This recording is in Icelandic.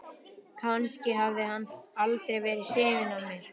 Kannski hafði hann aldrei verið hrifinn af mér.